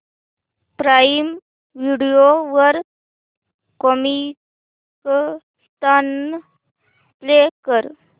prime Video वर Comicstaan play कर